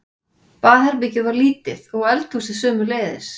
Baðherbergið var lítið og eldhúsið sömuleiðis.